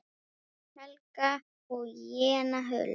Hrund, Helga og Jenna Huld.